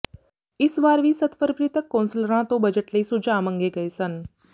ਇਸ ਵਾਰ ਵੀ ਸੱਤ ਫਰਵਰੀ ਤੱਕ ਕੌਂਸਲਰਾਂ ਤੋਂ ਬਜਟ ਲਈ ਸੁਝਾਅ ਮੰਗੇ ਗਏ ਸਨ